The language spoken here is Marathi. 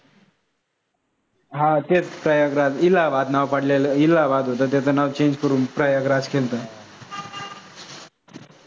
हां तेच प्रयागराज, इल्हाबाद नाव पडलेलं, इल्हाबाद होत त्याच नाव change करून प्रयागराज केलंत .